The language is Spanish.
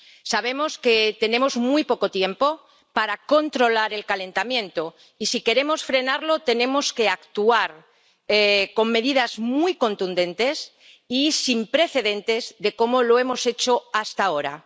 Sabemos que tenemos muy poco tiempo para controlar el calentamiento y si queremos frenarlo tenemos que actuar con medidas muy contundentes y sin precedentes de como lo hemos hecho hasta ahora.